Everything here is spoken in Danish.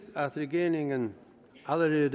at regeringen allerede